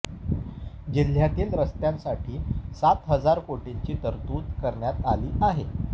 जिल्ह्यातील रस्त्यांसाठी सात हजार कोटींची तरतूद करण्यात आली आहे